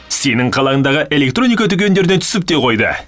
сенің қалаңдағы электроника дүкендеріне түсіп те қойды